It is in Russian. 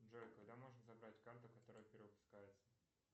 джой когда можно забрать карту которая перевыпускается